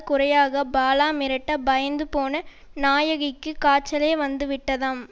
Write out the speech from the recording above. குறையாக பாலா மிரட்ட பயந்துபோன நாயகிக்கு காய்ச்சலே வந்துவிட்டதாம்